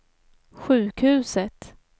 sjukhuset